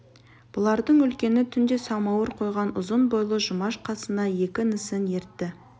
балалардың үлкені түнде самауыр қойған ұзын бойлы жұмаш қасына екі інісін ертті